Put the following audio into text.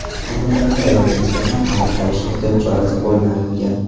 Ayni paytda ayolga nisbatan qamoqqa olish ehtiyot chorasi qo‘llanilgan.